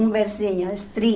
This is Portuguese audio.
Um versinho. Estri